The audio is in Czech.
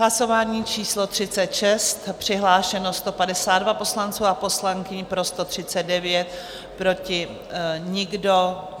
Hlasování číslo 36, přihlášeno 152 poslanců a poslankyň, pro 139, proti nikdo.